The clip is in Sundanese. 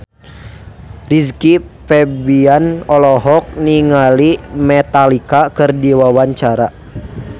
Rizky Febian olohok ningali Metallica keur diwawancara